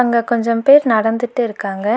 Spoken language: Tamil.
அங்க கொஞ்சம் பேர் நடந்துட்டு இருக்காங்க.